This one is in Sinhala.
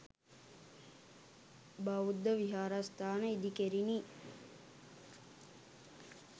බෞද්ධ විහාරස්ථාන ඉදිකෙරිණි.